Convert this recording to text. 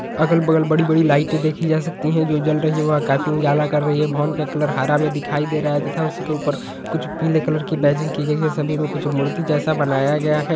अगल-बगल बड़ी-बड़ी लाइटे देखी जा सकती है जो जल रही है वो काफी उजाला कर रही है भवन का कलर हारा में दिखाई दे रहा है तथा उसके ऊपर कुछ पीले कलर बैजिंग की गई है सभी में कुछ मूर्ति जैसा बनाया गया है।